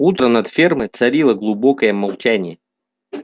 утром над фермой царило глубокое молчание